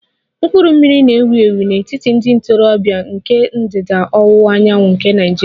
Mkpụrụ mmiri na-ewu ewu n'etiti ndị ntorobịa nke ndịda ọwụwa anyanwụ nke Nigeria